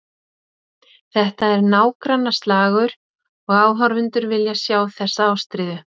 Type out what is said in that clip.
Þetta er nágrannaslagur og áhorfendur vilja sjá þessa ástríðu.